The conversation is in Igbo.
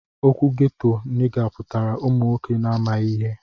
Okwu ghetto niga putara ụmụ nwọke na amaghi ihe.